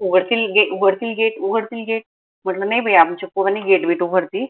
उघडतील gate उघडतील gate उघडतील gate म्हंटल नाई बाई आमच्या पोरांनी gate उघडती